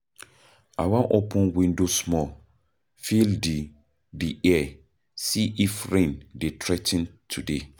I wan open window small, feel di di air, see if rain dey threa ten today.